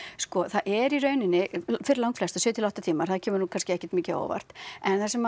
sko það er í rauninni fyrir langflesta sjö til átta tímar það kemur nú kannski ekkert mjög mikið á óvart en það sem